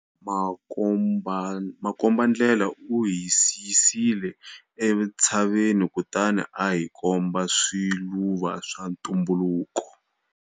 Makombandlela u hisisile entshaveni kutani a hi komba swiluva swa ntumbuluko.